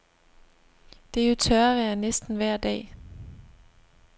Det er jo tørvejr næsten vejr dag.